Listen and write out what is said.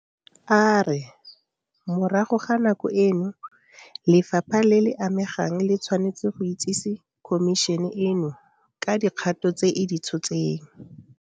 A re morago ga nako eno lefapha le le amegang le tshwanetse go itsese Khomišene eno ka dikgato tse e di tshotseng.